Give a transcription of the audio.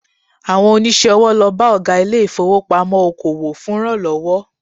Àwọn oníṣòwò lọ bá Ọ̀gá ilé ìfowópamọ́ oko òwò fún ìrànlọ́wọ́